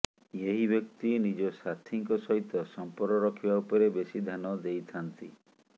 ଏହି ବ୍ଯକ୍ତି ନିଜ ସାଥୀଙ୍କ ସହିତ ସମ୍ପର୍କ ରଖିବା ଉପରେ ବେଶି ଧ୍ଯାନ ଦେଇଥାନ୍ତି